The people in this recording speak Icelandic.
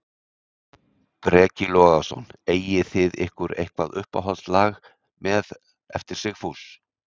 Breki Logason: Eigið þið ykkur eitthvað uppáhalds lag með, eftir Sigfús?